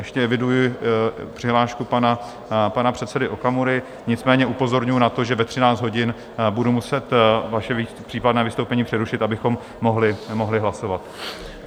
Ještě eviduji přihlášku pana předsedy Okamury, nicméně upozorňuji na to, že ve 13 hodin budu muset vaše případné vystoupení přerušit, abychom mohli hlasovat.